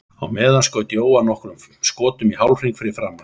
Á meðan skaut Jóhann nokkrum skotum í hálfhring fyrir framan sig.